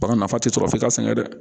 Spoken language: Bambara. Bagan nafa tɛ sɔrɔ f'i ka sɛgɛn dɛ